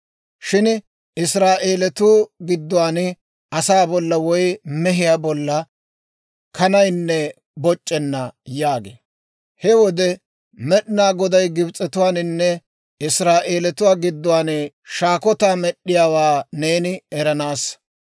Shin Israa'eelatuu gidduwaan, asaa bolla woy mehiyaa bolla kanaynne boc'c'enna› yaagee. He wode Med'inaa Goday Gibs'etuwaaninne Israa'eeliyaa gidduwaan shaakotaa med'd'iyaawaa neeni eranaassa.